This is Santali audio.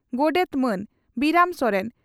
ᱜᱚᱰᱮᱛ ᱢᱟᱱ ᱵᱤᱨᱟᱹᱢ ᱥᱚᱨᱮᱱ